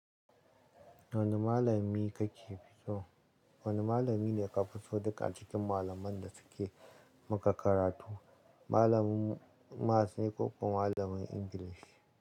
Wane malami ka fi so? Wane malami ne ka fi so duka acikin malaman da suke maka karatu. Malamin Maths ne ko kuma malamin English?